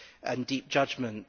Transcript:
and deep judgment.